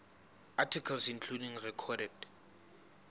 articles including recorded